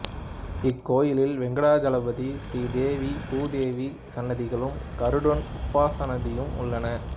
இக்கோயிலில் வெங்கடாசலபதி ஸ்ரீ தேவி பூ தேவி சன்னதிகளும் கருடன் உபசன்னதியும் உள்ளன